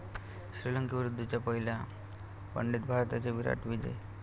श्रीलंकेविरुद्धच्या पहिल्या वनडेत भारताचा 'विराट' विजय